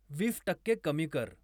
वीस टक्के कमी कर